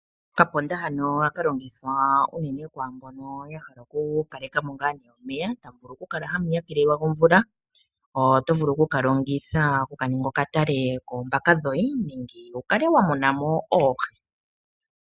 Okapomba hano ohaka longithwa unene kwaa mbono ya hala okukaleka mo omeya, tamu vulu okukala hamu hakelelwa omeya gomvula, oto vulu oku ka ninga okatale koombaka dhoye nenge wu kale wa muna mo oohi.